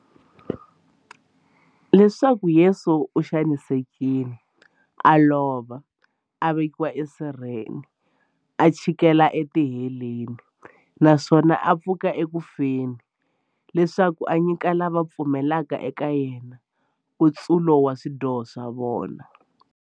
Leswaku Yesu u xanisekile, a lova, a vekiwa esirheni, a chikela etiheleni, naswona a pfuka eku feni, leswaku a nyika lava va pfumelaka eka yena, nkutsulo wa swidyoho swa vona.